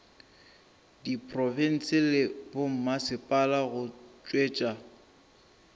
diprofense le bommasepala go tšwetša